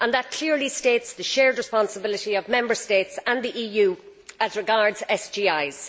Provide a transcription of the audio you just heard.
That clearly states the shared responsibility of Member States and the EU as regards SGIs.